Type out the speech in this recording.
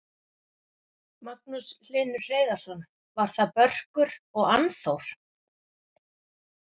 Magnús Hlynur Hreiðarsson: Var það Börkur og Annþór?